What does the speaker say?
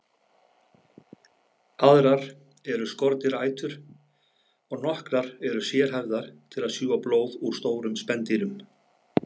Aðrar eru skordýraætur og nokkrar eru sérhæfðar til að sjúga blóð úr stórum spendýrum.